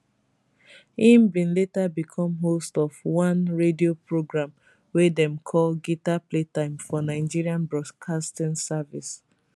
e bin later become host of one radio programme wey dem call guitar playtime for nigerian broadcasting service